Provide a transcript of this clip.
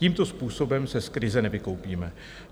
Tímto způsobem se z krize nevykoupíme.